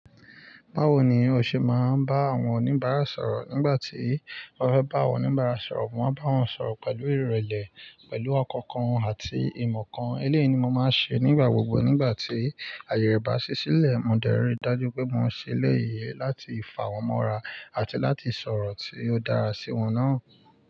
Báwo ni o ṣe máa ń bá àwọn oníbàárà sọ̀rọ̀ nígbà tí ọ́ fẹ́ bá awon oníbàárà sọ̀rọ̀? Mo máa n bá wọn sọ̀rọ̀ pẹ̀lú ìrẹ̀lẹ̀, pẹ̀lú ọkàn kan àti ìmọ̀ kan. Eléyìí ni mo máa ń ṣe nígbà gbogbo nígbà tí ayẹ rẹ bá ṣí sílẹ̀. Mo dẹ́rìí dájú wipé mò ń ṣe eleyii láti fà wọ́n mọ́ra àti láti sọ̀rọ̀ tí ó dára sí wọn náà.